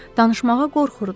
Danışmağa qorxurdular.